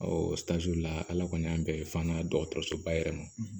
la ala kɔni y'an bɛn fɔ dɔgɔtɔrɔsoba yɛrɛ ma